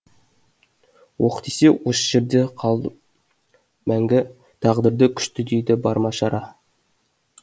оқ тисе осы жерде қалдым мәнгі тағдырды күшті дейді бар ма шара